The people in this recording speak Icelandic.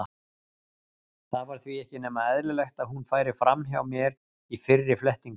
Það var því ekki nema eðlilegt að hún færi fram hjá mér í fyrri flettingum.